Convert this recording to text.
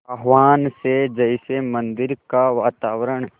आह्वान से जैसे मंदिर का वातावरण